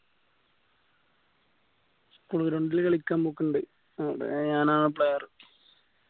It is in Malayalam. school ground ന് കളിക്കാൻ പൊക്കിണ്ട് അവിടെ ഞാൻ ആണ് player